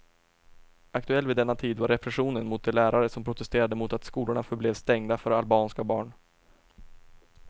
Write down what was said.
Aktuell vid denna tid var repressionen mot de lärare som protesterade mot att skolorna förblev stängda för albanska barn.